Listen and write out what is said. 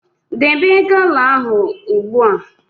Debe gala ahụ ugbu a!